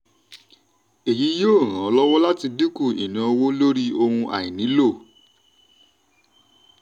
èyí yóò ràn ọ́ lọ́wọ́ láti dínkù ìnáowó lórí ohun àìnílò.